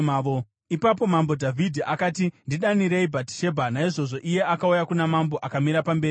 Ipapo Mambo Dhavhidhi akati, “Ndidanirei Bhatishebha.” Naizvozvo iye akauya kuna mambo akamira pamberi pake.